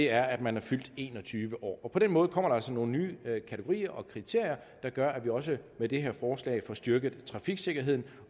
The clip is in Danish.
er at man er fyldt en og tyve år på den måde kommer der altså nogle nye kategorier og kriterier der gør at vi også med det her forslag får styrket trafiksikkerheden